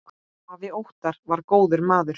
Afi Óttar var góður maður.